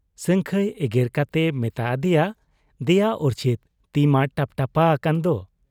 ᱥᱟᱹᱝᱠᱷᱟᱹᱭ ᱮᱜᱮᱨ ᱠᱟᱛᱮᱭ ᱢᱮᱛᱟ ᱟᱫᱮᱭᱟ, 'ᱫᱮᱭᱟ ᱩᱨᱪᱷᱤᱛ ᱛᱤᱢᱟ ᱴᱟᱯᱴᱟᱯᱟ ᱟᱠᱟᱱᱫᱚ !